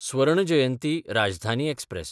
स्वर्ण जयंती राजधानी एक्सप्रॅस